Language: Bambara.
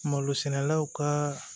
Malo sɛnɛlaw ka